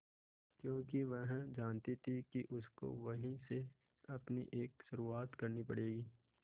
क्योंकि वह जानती थी कि उसको वहीं से अपनी एक शुरुआत करनी पड़ेगी